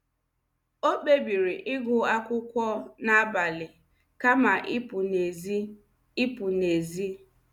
O kpebiri ịgụ akwụkwọ n’abalị kama ịpụ n’èzí. ịpụ n’èzí.